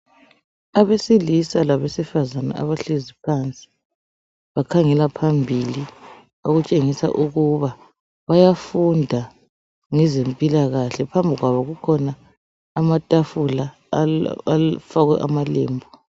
Abesilisa labesifazana abahlezi phansi bakhangela phambili okutshengisa ukuba bayafunda ngezempilakahle. Phambi kwabo kukhona amatafula afakwe amalembu.